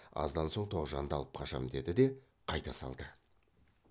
аздан соң тоғжанды алып қашам деді де қайта салды